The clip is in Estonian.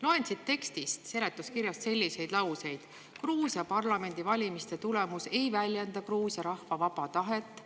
Loen siit tekstist selliseid lauseid: "Gruusia parlamendivalimiste tulemus ei väljenda Gruusia rahva vaba tahet.